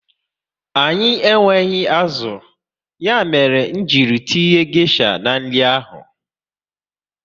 Anyị enweghị azụ, ya mere nji tinye gesha n'nri ahụ